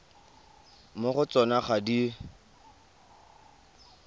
mo go tsona ga di